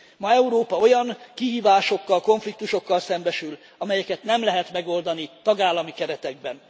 Ma Európa olyan kihívásokkal, konfliktusokkal szembesül, amelyeket nem lehet megoldani tagállami keretekben.